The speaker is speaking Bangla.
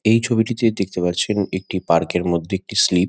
এই ছবিটিতে দেখতে পাচ্ছেন একটি পার্ক -এর মধ্যে একটি স্লিপ ।